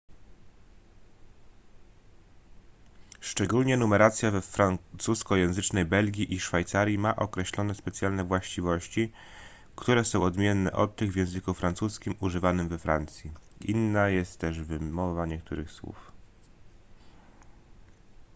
szczególnie numeracja we francuskojęzycznej belgii i szwajcarii ma określone specjalne właściwości które są odmienne od tych w języku francuskim używanym we francji inna jest też wymowa niektórych słów